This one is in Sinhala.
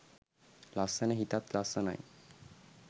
ලස්සන හිතත් ලස්සනයි.